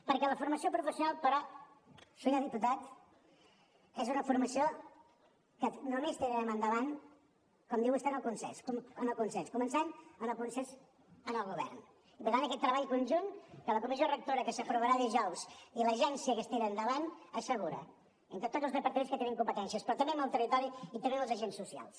perquè la formació professional però senyor diputat és una formació que només tirarem endavant com diu vostè amb el consens començant pel consens en el govern i per tant aquest treball conjunt de la comissió rectora que s’aprovarà dijous i l’agència que es tira endavant l’asseguren entre tots els departaments que hi tenim competències però també amb el territori i també amb els agents socials